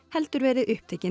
verið upptekinn